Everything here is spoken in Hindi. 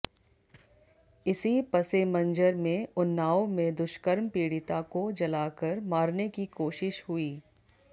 इसी पसेमंजर में उन्नाव में दुष्कर्म पीड़िता को जलाकर मारने की कोशिश हुई